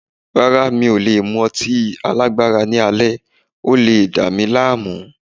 Rárá, mi ò lè mú ọtí alágbára ní alẹ́, ó le dámí láàmú.